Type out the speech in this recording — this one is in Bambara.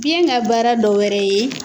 Biyɛn ka baara dɔ wɛrɛ ye